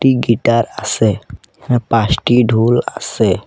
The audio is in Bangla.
গিটার আসে এখানে পাছটি ঢোল আসে।